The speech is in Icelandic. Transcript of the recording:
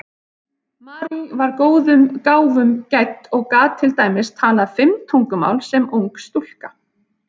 Marie var góðum gáfum gædd og gat til dæmis talað fimm tungumál sem ung stúlka.